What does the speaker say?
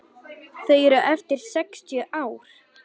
Þau eru eftir sextíu ár.